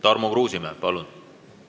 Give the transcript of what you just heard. Tarmo Kruusimäe, palun!